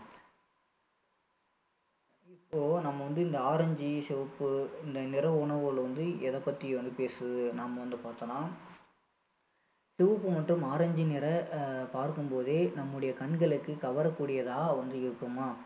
இப்போ நம்ம வந்து இந்த orange சிவப்பு இந்த நிற உணவுகள் வந்து எதை பத்தி வந்து பேசுது நாம வந்து பார்த்தோம்னா சிவப்பு மற்றும் orange நிற அஹ் பார்க்கும் போதே நம்முடைய கண்களுக்கு கவர கூடியதா வந்து இருக்குமா